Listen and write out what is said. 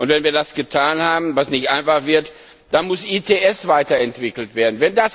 Und wenn wir das getan haben, was nicht einfach sein wird, dann muss ETS weiterentwickelt werden.